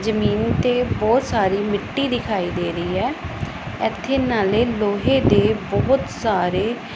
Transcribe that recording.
ਜਮੀਨ ਤੇ ਬਹੁਤ ਸਾਰੀ ਮਿੱਟੀ ਦਿਖਾਈ ਦੇ ਰਹੀ ਐ ਇੱਥੇ ਨਾਲੇ ਲੋਹੇ ਦੇ ਬਹੁਤ ਸਾਰੇ --